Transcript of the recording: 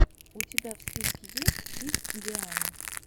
у тебя в списке есть кидс диана